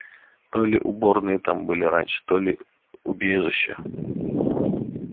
то ли уборные там были раньше то ли убежища